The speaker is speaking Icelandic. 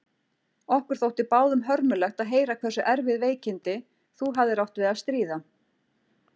Okkur þótti báðum hörmulegt að heyra hversu erfið veikindi þú hafðir átt við að stríða.